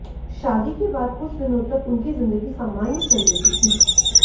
शादी के बाद कुछ दिनों तक उनकी जिंदगी सामान्य चल रही थी